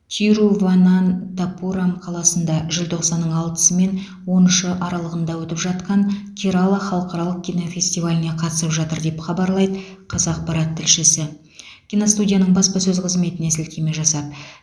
тируванантапурам қаласында желтоқсанның алтысы мен он үші аралығында өтіп жатқан керала халықаралық кинофестиваліне қатысып жатыр деп хабарлайды қазақпарат тілшісі киностудияның баспасөз қызметіне сілтеме жасап